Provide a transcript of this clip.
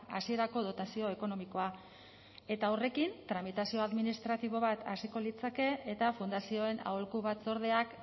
hasierako dotazio ekonomikoa eta horrekin tramitazio administratibo bat hasiko litzateke eta fundazioen aholku batzordeak